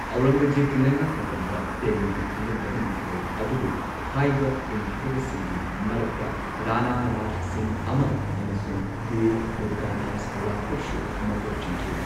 ꯑꯧꯔꯪꯒꯖꯦꯕꯀꯤ ꯂꯩꯉꯥꯛ ꯃꯇꯝꯗ, ꯗꯦꯜꯂꯤꯒꯤ ꯈꯪꯒꯟꯗꯕ ꯅꯤꯡꯊꯧ ꯑꯗꯨꯕꯨ ꯍꯥꯏꯕ ꯏꯟꯈꯤꯗꯕꯁꯤꯡꯒꯤ ꯃꯔꯛꯇ ꯔꯥꯅꯥ ꯔꯥꯖ ꯁꯤꯡꯍ ꯑꯃ ꯑꯃꯁꯨꯡ ꯕꯤꯔ ꯗꯨꯔꯒꯥꯗꯥꯁ ꯔꯥꯊꯣꯔꯁꯨ ꯃꯀꯣꯛ ꯆꯤꯡꯈꯤ꯫